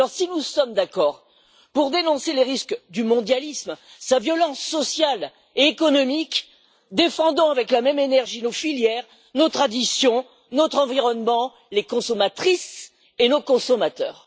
Alors, si nous sommes d'accord pour dénoncer les risques du mondialisme, sa violence sociale et économique, défendons avec la même énergie nos filières, nos traditions, notre environnement, les consommatrices et nos consommateurs.